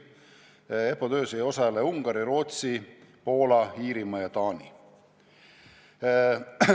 EPPO töös ei osale Ungari, Rootsi, Poola, Iirimaa ja Taani.